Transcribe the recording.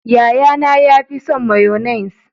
Yaya na ya fi son mayonnaise.